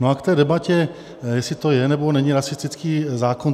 No a k té debatě, jestli to je, nebo není rasistický zákon.